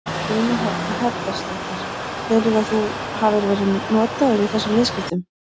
Guðný Helga Herbertsdóttir: Telurðu að þú hafi verið notaður í þessum viðskiptum?